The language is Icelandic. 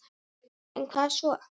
En hvað svo??